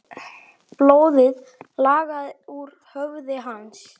Blóðið lagaði úr höfði hans.